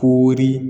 Kori